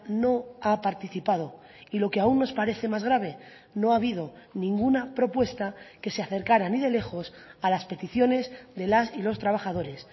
no ha participado y lo que aún nos parece más grave no ha habido ninguna propuesta que se acercara ni de lejos a las peticiones de las y los trabajadores